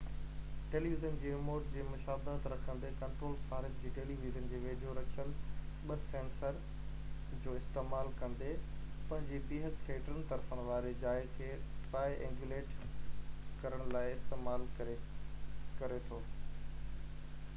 television جي remote جي مشابهت رکندي ڪنٽرولر صارف جي ٽيلي ويزن جي ويجهو رکيل ٻہ سينسرن جو استعمال ڪندي پنهنجي بيهڪ کي ٽن طرفن واري جاءِ کي ٽرائي اينگيوليٽ ڪرڻ لاءِ استعمال ڪري ٿو